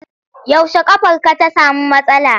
Yaushe ƙafarka ta samu matsala.